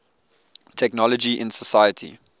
technology in society